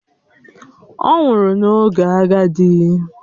Ọ nwụrụ n’oge agadi